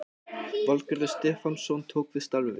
Valgarður Stefánsson tók við starfi